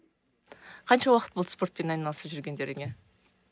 қанша уақыт болды спортпен айналысып жүргендеріңе